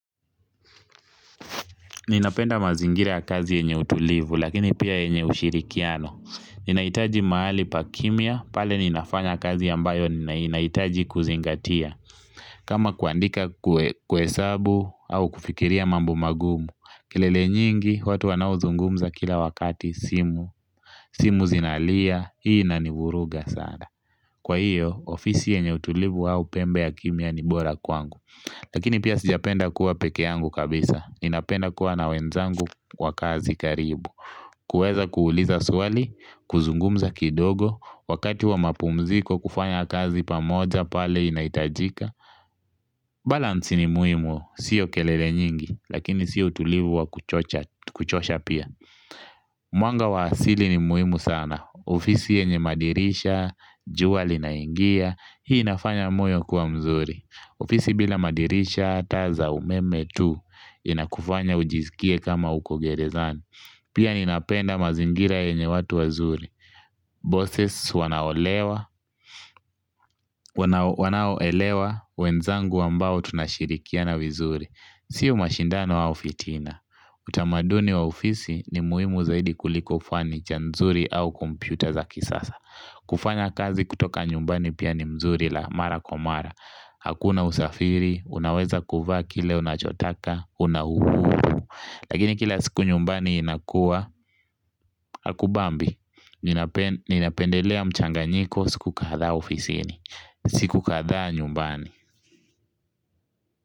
Ninapenda mazingira ya kazi yenye utulivu lakini pia yenye ushirikiano ninahitaji mahali pa kimia, pale ninafanya kazi ambayo ninahitaji kuzingatia. Kama kuandika kuhesabu au kufikiria mambo magumu. Kelele nyingi, watu wanaozungumza kila wakati simu. Simu zinalia, hii inani vuruga sana. Kwa hiyo, ofisi yenye utulivu au pembe ya kimia ni bora kwangu. Lakini pia sijapenda kuwa pekee yangu kabisa. Ninapenda kuwa na wenzangu kwa kazi karibu kuweza kuuliza swali, kuzungumza kidogo wakati wa mapumziko kufanya kazi pamoja pale inahitajika. Balance ni muhimu, siyo kelele nyingi lakini siyo utulivu wa kuchosha pia mwanga wa asili ni muhimu sana ofisi yenye madirisha jua linaingia hii inafanya moyo kuwa mzuri ofisi bila madirisha taa za umeme tu inakufanya ujiskie kama uko gerezani pia ninapenda mazingira yenye watu wazuri bosses wanaolewa wenzangu ambao tunashirikiana vizuri sio mashindano au fitina utamaduni wa ofisi ni muhimu zaidi kuliko fani cha nzuri au kompyuta za kisasa kufanya kazi kutoka nyumbani pia ni mzuri la mara kwa mara hakuna usafiri, unaweza kuvaa kile unachotaka, una uhuru lakini kila siku nyumbani inakuwa, hakubambi, ninapendelea mchanganyiko siku kadhaa ofisini, siku kadhaa nyumbani.